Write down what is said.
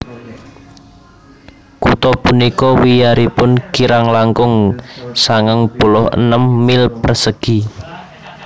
Kutha punika wiyaripun kirang langkung sangang puluh enem mil persegi